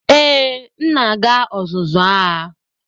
Ee, m na-aga ọzụzụ agha.